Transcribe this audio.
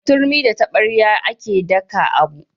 Da turmi da taɓarya a ke daka abu